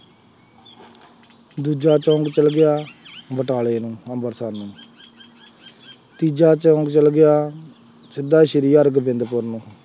ਦੂਜਾ ਚੌਂਕ ਚੱਲ ਗਿਆ ਬਟਾਲੇ ਨੂੰ, ਅੰਂਮ੍ਰਿਤਸਰ ਨੂੰ, ਤੀਜਾ ਚੌਂਕ ਚੱਲ ਗਿਆ, ਸਿੱਧਾ ਸ਼੍ਰੀ ਹਰਗੋਬਿੰਦਪੁਰ ਨੂੰ,